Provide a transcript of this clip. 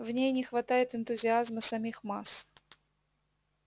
в ней не хватает энтузиазма самих масс